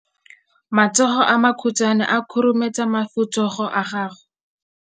Matsogo a makhutshwane a khurumetsa masufutsogo a gago.